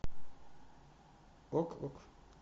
ок ок